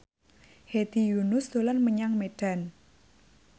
Hedi Yunus dolan menyang Medan